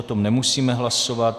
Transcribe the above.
O tom nemusíme hlasovat.